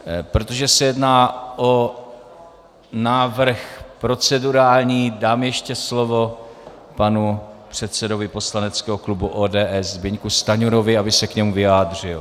Protože se jedná o návrh procedurální, dám ještě slovo panu předsedovi poslaneckého klubu ODS Zbyňku Stanjurovi, aby se k němu vyjádřil.